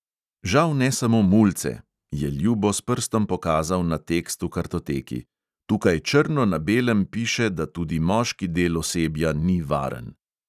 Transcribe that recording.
"Žal ne samo mulce," je ljubo s prstom pokazal na tekst v kartoteki, "tukaj črno na belem piše, da tudi moški del osebja ni varen."